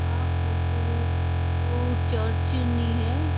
आ photo ऊ ऊ ऊ चर्च नी है।